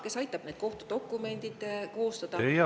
Kes aitab need kohtudokumendid koostada?